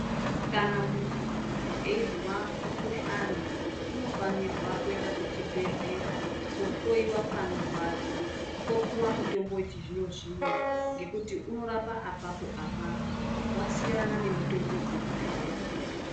Kana munhu eizwa mukuhlani unofanirwa kuenda kuchibhehlera koohloyiwa panorwadza. Opuwa mutombo wechizvino-zvino ngekuti unorapa apapo-apapo, wasiyana nemitombo dzekudhaya.